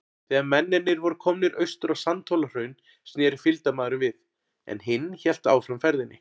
Þegar mennirnir voru komnir austur á Sandhólahraun, sneri fylgdarmaðurinn við, en hinn hélt áfram ferðinni.